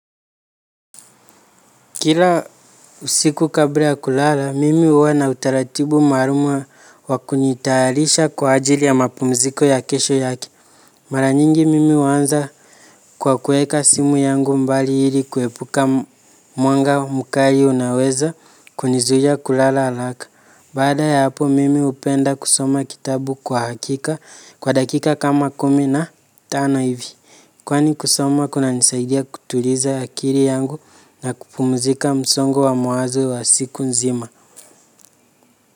Kila usiku kabla ya kulala, mimi huwa na utaratibu maalumu wa kunitayarisha kwa ajili ya mapumziko ya kesho yake. Mara nyingi mimi huanza kwa kuweka simu yangu mbali ili kuepuka mwanga mkali unaweza kunizuia kulala haraka. Baada ya hapo mimi hupenda kusoma kitabu kwa hakika kwa dakika kama kumi na tano hivi. Kwani kusoma kunanisaidia kutuliza akili yangu na kupumzika msongo wa mawazo wa siku nzima.